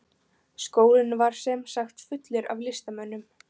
Skólinn var sem sagt fullur af listamönnum.